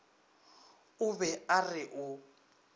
o be a re o